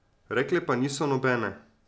Rekle pa niso nobene.